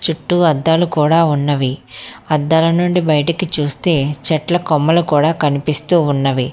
చుట్టూ అద్దాలు కూడా ఉన్నవి అద్దాల నుండి బయటకి చూస్తే చెట్ల కొమ్మలు కూడా కనిపిస్తూ ఉన్నవి.